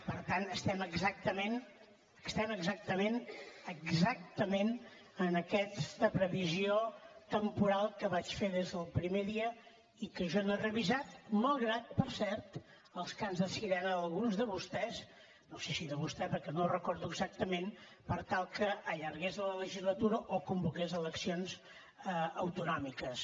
per tant estem exactament exactament en aquesta previsió temporal que vaig fer des del primer dia i que jo no he revisat malgrat per cert els cants de sirena d’alguns de vostès no sé si de vostè perquè no ho recordo exactament per tal que allargués la legislatura o convoqués eleccions autonòmiques